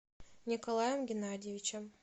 николаем геннадьевичем